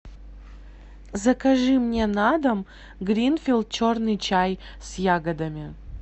закажи мне на дом гринфилд черный чай с ягодами